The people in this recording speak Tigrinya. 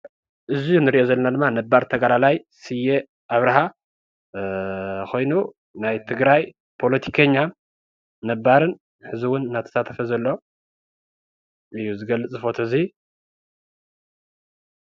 እዚ ምስሊ ገዲም ተገዳላይን ፓለቲከኛን ስየ አብረሃ እዩ።